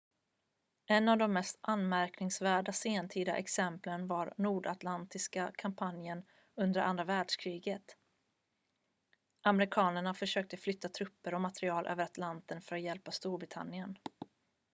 en av de mest anmärkningsvärda sentida exemplen var nordatlantiska kampanjen under andra världskriget amerikanerna försökte flytta trupper och material över atlanten för att hjälpa storbritannien